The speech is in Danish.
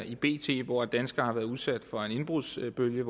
i bt på at danskere har været udsat for en indbrudsbølge